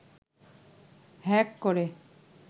hack করে